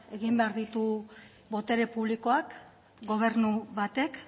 egin behar ditu botere publikoak gobernu batek